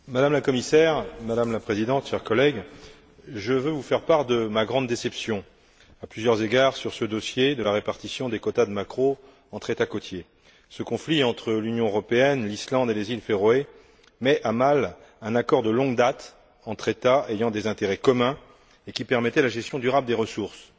Madame la Présidente, Madame la Commissaire, chers collègues, je veux vous faire part de ma grande déception à plusieurs égards, sur ce dossier de la répartition des quotas de maquereaux entre États côtiers. Ce conflit entre l'Union européenne, l'Islande et les Îles Féroé met à mal un accord de longue date entre États ayant des intérêts communs et qui permettait la gestion durable des ressources.